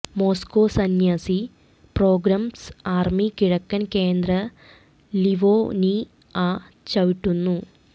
Moscow സന്യാസി pogroms army കിഴക്കൻ കേന്ദ്ര ലിവൊനിഅ ചവിട്ടുന്നു